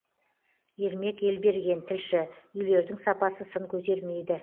ермек елберген тілші үйлердің сапасы сын көтермейді